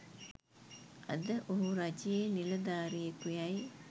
අද ඔහු රජයේ නිලධාරියෙකුයැයි